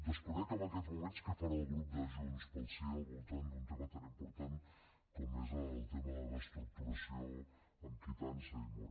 desconec en aquests moments què farà el grup de junts pel sí al voltant d’un tema tan important com és el tema de la reestructuració amb quitança i mora